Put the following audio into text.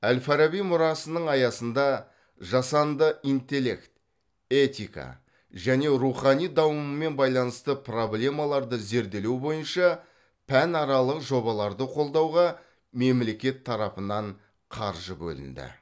әл фараби мұрасының аясында жасанды интеллект этика және рухани дамумен байланысты проблемаларды зерделеу бойынша пәнаралық жобаларды қолдауға мемлекет тарапынан қаржы бөлінді